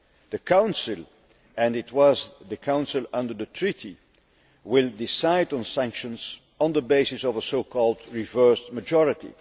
The Council and it was the Council under the treaty will decide on sanctions on the basis of a so called reversed majority'.